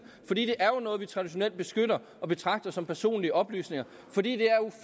for det er jo noget vi traditionelt beskytter og betragter som personlige oplysninger fordi det